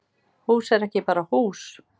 Hús er ekki bara hús